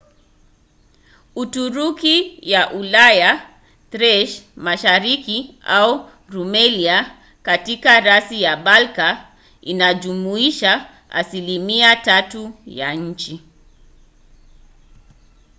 uturuki ya ulaya thrace mashariki au rumelia katika rasi ya balka inajumuisha asilimia 3 ya nchi